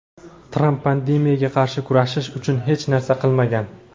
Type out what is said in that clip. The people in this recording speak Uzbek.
Tramp pandemiyaga qarshi kurashish uchun hech narsa qilmagan.